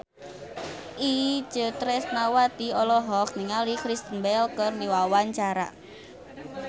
Itje Tresnawati olohok ningali Kristen Bell keur diwawancara